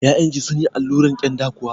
Ya'yan ki sunyi alluran kyanda kuwa?